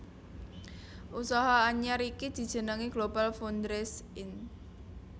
Usaha anyar iki dijenengi GlobalFoundries Inc